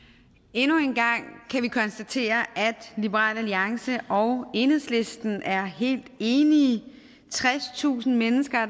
endnu en gang kan vi konstatere at liberal alliance og enhedslisten er helt enige tredstusind mennesker